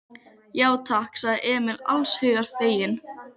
Já, takk, sagði Emil alls hugar feginn.